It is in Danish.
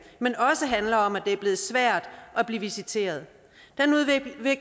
men også handler om at det er blevet svært at blive visiteret